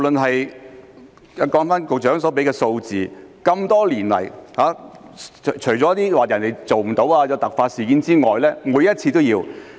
按照局長所說的數字，多年來除了有些法官未能配合或遇有突發事件外，每次都是有需要的。